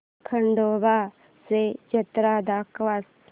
खंडोबा ची जत्रा दाखवच